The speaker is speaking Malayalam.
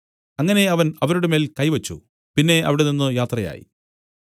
അങ്ങനെ അവൻ അവരുടെ മേൽ കൈവച്ചു പിന്നെ അവിടെനിന്നു യാത്രയായി